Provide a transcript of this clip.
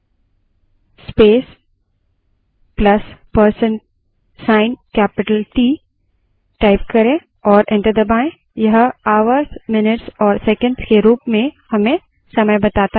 prompt पर date space plus percent sign capital t type करें और enter दबायें